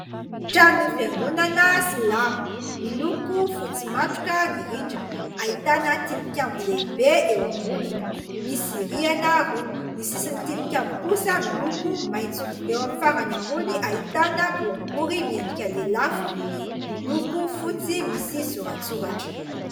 Trano Fiangonana Silamo. Miloko fotsy matroka ny rindrina, ahitana tili-kambo lehibe eo amboniny. Misy rihana roa, ny sisin'ny tili-kambo kosa miloko maitso. Eo amin'ny farany ambony ahitana boribory miendrika lelafo miloko fotsy misy sora-tsoratra.